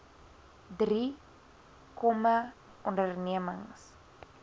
drie kmme ondernemings